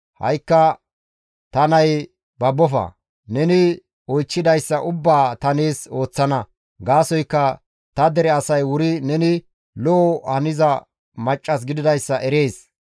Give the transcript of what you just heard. Ha7ikka ta nayee babbofa; neni oychchidayssa ubbaa ta nees ooththana; gaasoykka ta dere asay wuri neni lo7o haniza maccas gididayssa erees.